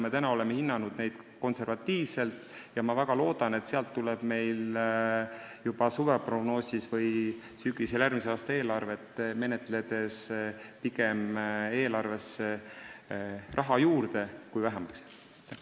Me oleme hinnanud neid konservatiivselt ja ma väga loodan, et sealt tuleb suveprognoosi või sügisel järgmise aasta eelarvesse pigem raha juurde, mitte ei jää vähemaks.